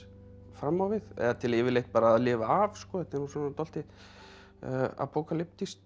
fram á við eða til yfirleitt bara að lifa af þetta er nú dálítið